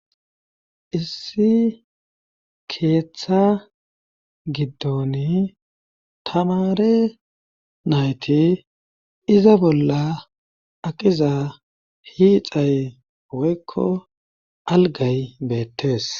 Issi keeththa giddoni tamare nayti iza bolla aqiza hiixay woykko algay beettees